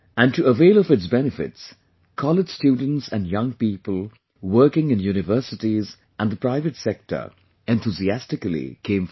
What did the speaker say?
And to avail of its benefits, college students and young people working in Universities and the private sector enthusiastically came forward